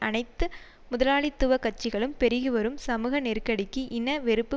அனைத்து முதலாளித்துவ கட்சிகளும் பெருகி வரும் சமூக நெருக்கடிக்கு இன வெறுப்பு